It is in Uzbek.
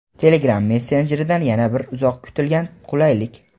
"Telegram" messenjeridan yana bir uzoq kutilgan qulaylik!.